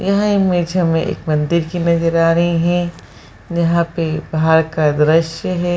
यह इमेज हमे एक मंदिर की नजर आ रही है यहाँ पे पहाड़ का दृश्य है ।